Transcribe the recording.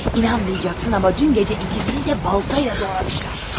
İnanmayacaqsan, amma dünən gecə ikisini də baltayla doğrayıblar.